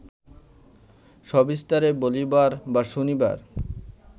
সবিস্তারে বলিবার বা শুনিবার